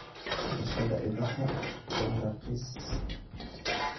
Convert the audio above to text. Dhaqashada idaha waa raqiis.